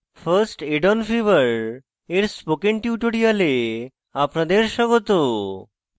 first aid on fever এর spoken tutorial আপনাদের স্বাগত